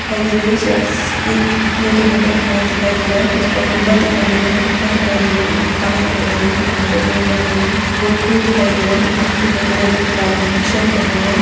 सड़क दिखाई दे रही है सड़क के दूसरी और देखने पर एक महल दिखाई दे रहा है जिसपर गुंबद दिखाई दे रहा है खिड़कियां दिखाई दे रही हैं दुकानें दिखाई दे रही हैं दुकानों पर बोर्ड लगे हुए हैं लोग दिखाई दे रहें हैं एक आदमी दिखाई दे रहा है जो कि लाल रंग कि शर्ट पहने हुए है।